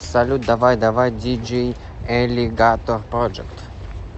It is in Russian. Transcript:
салют давай давай диджей элигатор проджект